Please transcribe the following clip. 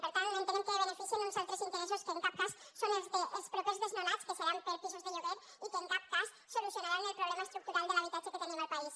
per tant entenem que beneficien uns altres interessos que en cap cas són els dels propers desnonats que seran per pisos de lloguer i que en cap cas solucionaran el problema estructural de l’habitatge que tenim al país